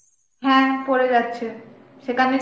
হ্যাঁ পরে যাচ্ছে সেখানে